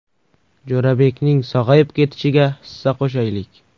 Jo‘rabekning sog‘ayib ketishiga hissa qo‘shaylik!